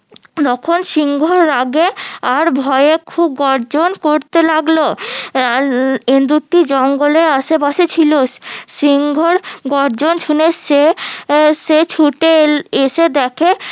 তখন সিংহর রাগে আর ভয়ে খুব গর্জন করতে লাগলো ইন্দুরটি জঙ্গলে আশেপাশে ছিল সিংহর গর্জন শুনে সে সে ছুটে এসে দেখে